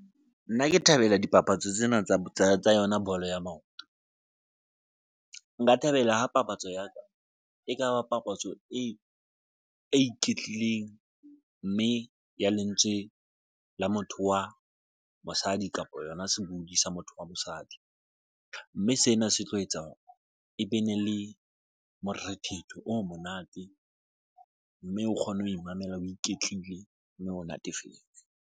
Nna ke thabela dipapatso tsena tsa yona bolo ya maoto. Nka thabela ha papatso ya ka e kaba papatso e iketlileng mme ya lentswe la motho wa mosadi kapa yona sebodi sa motho wa mosadi, mme sena se tlo etsa hore e be ne le morethetho o monate mme o kgone ho imamela, o iketlile mme o natefetswe.